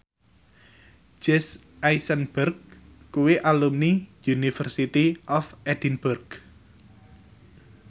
Jesse Eisenberg kuwi alumni University of Edinburgh